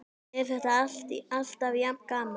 Er þetta alltaf jafn gaman?